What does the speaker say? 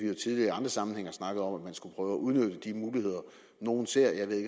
jo tidligere i andre sammenhænge snakket om at man skulle prøve at udnytte de muligheder nogle ser jeg ved